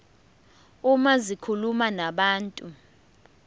uma zikhuluma nabantu